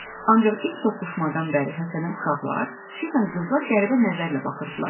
Ancaq ilk toqquşmadan bəri Həsənə uşaqlar, xüsusən qızlar qəribə nəzərlə baxırdılar.